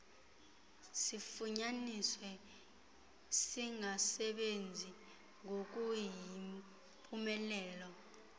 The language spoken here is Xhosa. sifunyaniswe singasebenzi ngokuyimpumelelo